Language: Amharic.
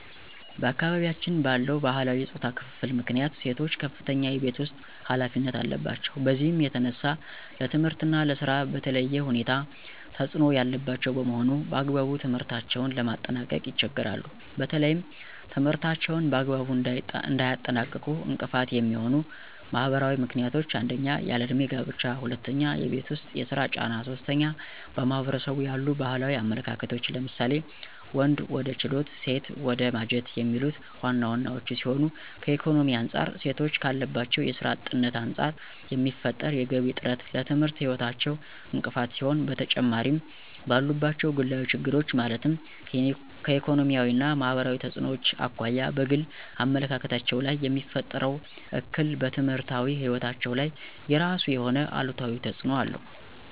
በአካባቢያችን ባለው ባህላዊ የፆታ ክፍፍል ምክንያት ሴቶች ከፍተኛ የቤት ውስጥ ኃላፊነት አለባቸው። በዚህም የተነሳ ለትምህርት እና ለስራ በተለየ ሁኔታ ተፅዕኖ ያለባቸው በመሆኑ በአግባቡ ትምህርታቸውን ለማጠናቀቅ ይቸገራሉ። በተለይም ትምህርታቸውን በአግባቡ እንዳያጠናቅቁ እንቅፋት የሚሆኑ ማህበራዊ ምክንያቶች 1- ያለ እድሜ ጋብቻ 2- የቤት ውስጥ የስራ ጫና 3- በማህበረሰቡ ያሉ ባህላዊ አመለካከቶች ለምሳሌ:- ወንድ ወደ ችሎት ሴት ወደ ማጀት የሚሉት ዋና ዋናወቹ ሲሆኑ ከኢኮኖሚ አንፃር ሴቶች ካለባቸው የስራ አጥነት አንፃር የሚፈጠር የገቢ እጥረት ለትምህርት ህይወታቸው እንቅፋት ሲሆን በተጨማሪምባሉባቸው ግላዊ ችግሮች ማለትም ከኢኮኖሚያዊ እና ማህበራዊ ተፅዕኖዎች አኳያ በግል አመለካከታቸው ላይየሚፈጥረው እክል በትምህርታዊ ህይወታቸው ላይ የራሱ የሆነ አሉታዊ ተፅዕኖ አለው።